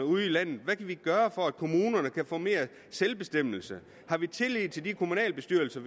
ude i landet hvad kan vi gøre for at kommunerne kan få mere selvbestemmelse har vi tillid til de kommunalbestyrelser